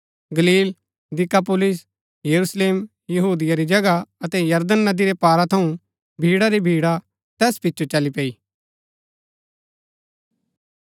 गलील दिकापुलिस यरूशलेम यहूदिया री जगह अतै यरदन नदी रै पारा थऊँ भीड़ा री भीड़ा तैस पिचो चली पैई